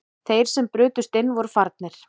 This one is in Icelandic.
Þeir sem brutust inn voru farnir